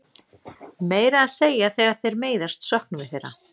Meira að segja þegar þeir meiðast söknum við þeirra.